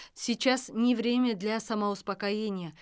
сейчас не время для самоуспокоения